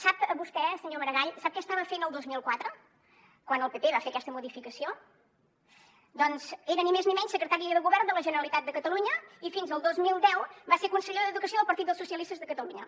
sap vostè senyor maragall què estava fent el dos mil quatre quan el pp va fer aquesta modificació doncs era ni més ni menys secretari del govern de la generalitat de catalunya i fins al dos mil deu va ser conseller d’educació del partit dels socialistes de catalunya